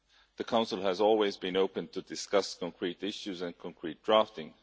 The Council has always been open to discuss concrete issues and concrete drafting.